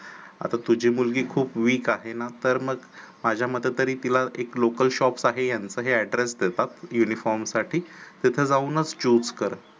आता तुझी मुलगी खूप weak आहे ना तर मग माझ्या मते तरी तिला एक local shop आहे यांचं ह address देतात uniform साठी तिथे जाऊनच choose कर